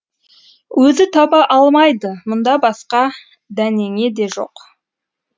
өзі таба алмайды мұнда басқа дәнеңе де жоқ